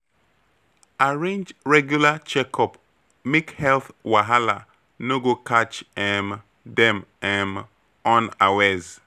Arrange regular checkup make health wahala no go catch um dem um unawares.